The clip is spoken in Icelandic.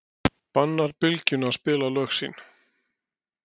Bannar Bylgjunni að spila lög sín